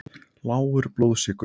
Lágur blóðsykur.